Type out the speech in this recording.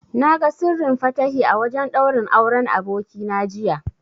Na ga Sirrin Fatahi a wajen ɗaurin Auren abokina jiya.